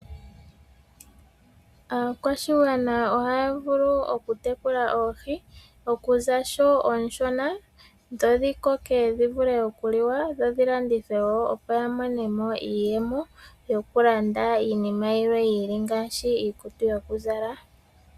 Aakwashigwana ohaya vulu okutekula oohi, okuza sho oonshona dho dhi koke dhi vule okuliwa dho dhi landithwe wo ya mone mo iiyemo, yokulanda iinima yilwe yi ili ngaashi iikutu yokuzala.